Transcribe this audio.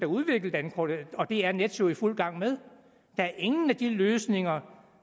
udvikle dankortet og det er nets jo i fuld gang med der er ingen af de løsninger